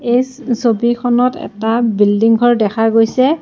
এই চ ছবিখনত এটা বিল্ডিং ঘৰ দেখা গৈছে।